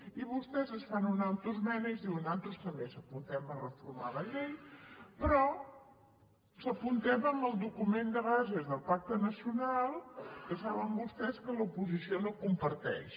i vostès es fan una autoesmena i diuen nosaltres també ens apuntem a reformar la llei però ens hi apuntem amb el document de bases del pacte nacional que saben vostès que l’oposició no comparteix